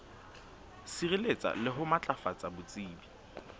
sireletsa le ho matlafatsa botsebi